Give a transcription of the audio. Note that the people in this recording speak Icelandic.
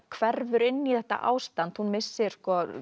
hverfur inn í þetta ástand hún missir